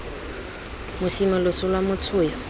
mosime loso lwa motho yo